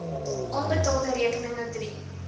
onbetaalde rekeninge drie